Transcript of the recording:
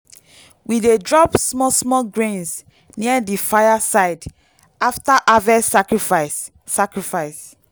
we dey drop small small grains near di fire side after harvest sacrifice. sacrifice.